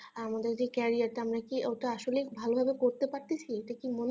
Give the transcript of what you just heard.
আমাদের যে carrier টা আমরা কি ওটা আসলেই ভালো ভাবে করতে পারছি এটা কি মনে হয়